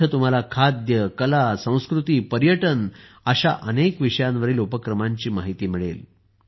तिथे तुम्हाला खाद्य कला संस्कृती पर्यटन अशा अनेक विषयांवरील उपक्रमांची माहिती मिळेल